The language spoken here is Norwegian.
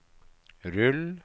rull